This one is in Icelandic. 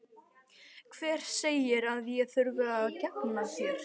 Hver segir að ég þurfi að gegna þér?